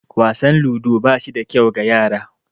Wasan ludo ba shi da kyau ga yara